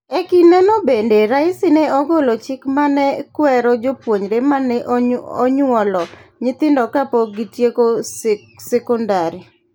E kindego bende, Raisi ne ogolo chik ma ne kwero jopuonjre ma ne onyuolo nyithindo kapok gitieko sekondari: